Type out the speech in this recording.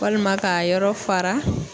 Walima k'a yɔrɔ fara